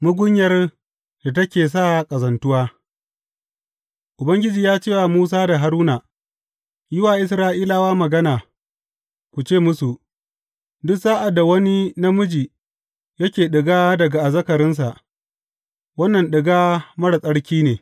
Mugunyar da ke sa ƙazantuwa Ubangiji ya ce wa Musa da Haruna, Yi wa Isra’ilawa magana, ku ce musu, Duk sa’ad da wani namiji yake ɗiga daga azzakarinsa, wannan ɗiga marar tsarki ne.